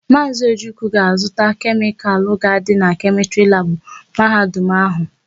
Maazị Ojukwu ga-azụta kemịkalụ ga-adị na kemịstrị labụ Mahadum áhụ̀.